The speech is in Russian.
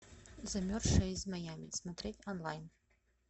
замерзшая из майами смотреть онлайн